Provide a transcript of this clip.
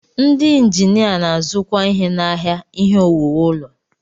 Ndị injinia na-azukwa ihe n'ahịa ihe owuwu ụlọ.